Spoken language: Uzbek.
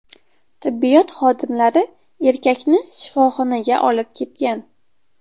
Tibbiyot xodimlari erkakni shifoxonaga olib ketgan.